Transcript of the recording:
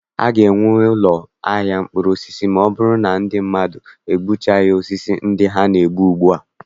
A ga-enwe ụkọ ahịa mkpụrụosisi ma ọ bụrụ na ndị mmadụ adụchighị osisi ndị ha na- egbu ugbua.